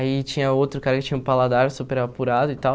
Aí tinha outro cara que tinha um paladar super apurado e tal.